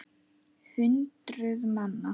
Hundruð manna.